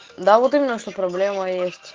да вот именно что проблема есть